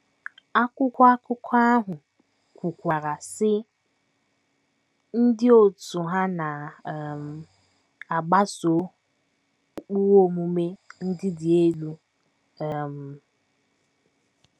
Akwụkwọ akụkọ ahụ kwukwara, sị: “ Ndị òtù ha na um - agbaso ụkpụrụ omume ndị dị elu um.